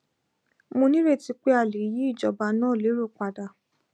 mo nírètí pé a lè yí ìjọba náà lérò padà